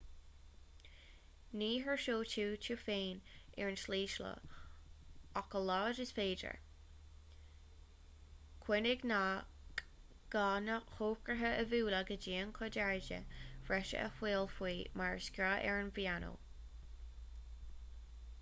ní thuirseoidh tú tú féin ar an tslí seo ach a laghad is féidir cuimhnigh nach gá na heochracha a bhualadh go dian chun airde bhreise a fháil faoi mar is gá ar an bpianó